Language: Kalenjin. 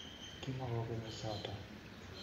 Kimakokenyi choto